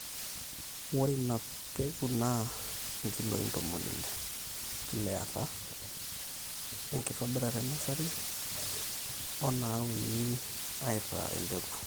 ore ina pegu naa 60g per acre. enkitobirata e nasary aa eunoto oonkuti naaitaaii embegu